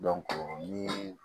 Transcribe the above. ni